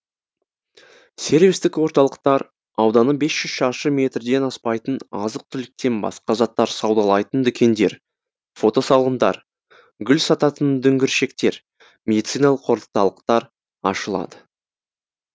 сервистік орталықтар ауданы бес жүз шаршы метрден аспайтын азық түліктен басқа заттар саудалайтын дүкендер фотосалондар гүл сататын дүңгіршектер медициналық орталықтар ашылады